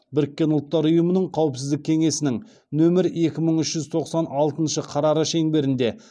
біріккен ұлттар ұйымының қауіпсіздік кеңесінің нөмір екі мың үш жүз тоқсан алтыншы қарары шеңберінде